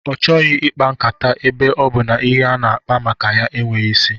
Ọ chọghị ikpa nkata ebe ọ bụ na ihe a na-akpa maka ya enweghị isi